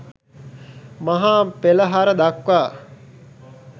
මහා පෙළහර දක්වා